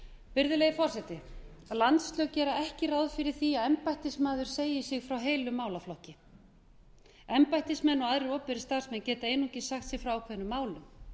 virðulegi forseti landslög gera ekki ráð fyrir því að embættismaður segi sig frá heilum málaflokki embættismaður og aðrir opinberir starfsmenn geta einungis sagt sig frá ákveðnum málum